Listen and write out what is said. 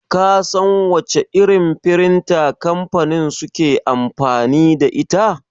Ka san wace irin firinta kamfanin suke amfani da ita?